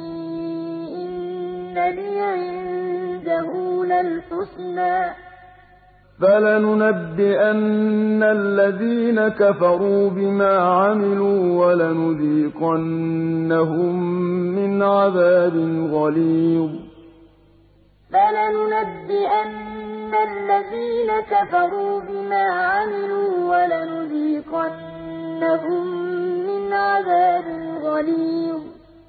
ۚ فَلَنُنَبِّئَنَّ الَّذِينَ كَفَرُوا بِمَا عَمِلُوا وَلَنُذِيقَنَّهُم مِّنْ عَذَابٍ غَلِيظٍ وَلَئِنْ أَذَقْنَاهُ رَحْمَةً مِّنَّا مِن بَعْدِ ضَرَّاءَ مَسَّتْهُ لَيَقُولَنَّ هَٰذَا لِي وَمَا أَظُنُّ السَّاعَةَ قَائِمَةً وَلَئِن رُّجِعْتُ إِلَىٰ رَبِّي إِنَّ لِي عِندَهُ لَلْحُسْنَىٰ ۚ فَلَنُنَبِّئَنَّ الَّذِينَ كَفَرُوا بِمَا عَمِلُوا وَلَنُذِيقَنَّهُم مِّنْ عَذَابٍ غَلِيظٍ